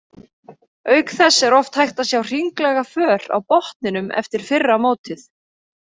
Auk þess er oft hægt að sjá hringlaga för á botninum eftir fyrra mótið.